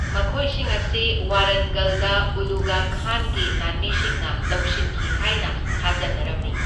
ꯃꯈꯣꯏꯁꯤꯡ ꯑꯁꯤ ꯋꯥꯔꯟꯒꯜꯗ ꯎꯂꯨꯒ ꯈꯥꯟꯒꯤ ꯂꯥꯟꯃꯤꯁꯤꯡꯅ ꯂꯧꯁꯤꯟꯈꯤ ꯍꯥꯏꯅ ꯊꯥꯖꯅꯔꯝꯃꯤ꯫